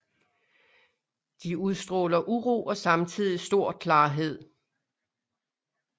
De udstråler uro og samtidig stor klarhed